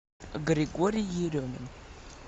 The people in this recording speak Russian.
григорий еремин